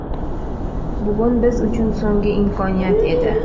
Bugun biz uchun so‘nggi imkoniyat edi.